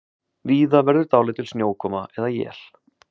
Víða verður dálítil snjókoma eða él